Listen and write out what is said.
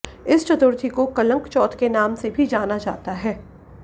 इस चतुर्थी को कलंक चौथ के नाम से भी जाना जाता है